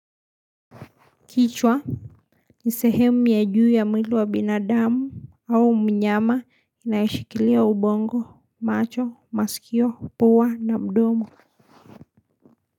Kichwa ni sehemu ya juu ya mwili wa binadamu au mnyama inayoshikilia ubongo macho masikio puwa na mdomo.